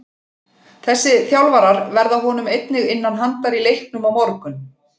Þessi þjálfarar verða honum einnig innan handar í leiknum á morgun.